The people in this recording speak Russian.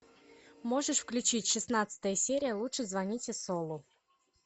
можешь включить шестнадцатая серия лучше звоните солу